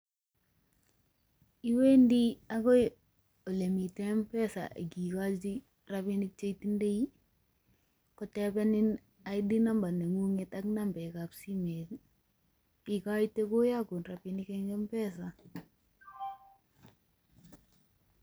Iwendi agoi olemiten M-Pesa ak igochi rabinik che itindei, kotebenin ID Number neng'ung'et ak nambek ab simet, igoite koyogun rabinik en M-Pesa.